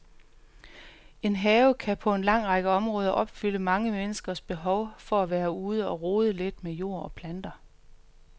En have kan på en lang række områder opfylde mange menneskers behov for at være ude og rode lidt med jord og planter.